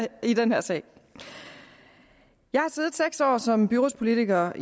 i den her sag jeg har siddet seks år som byrådspolitiker